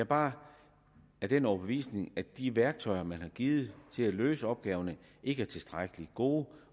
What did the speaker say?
bare af den overbevisning at de værktøjer man har givet til at løse opgaverne ikke er tilstrækkelig gode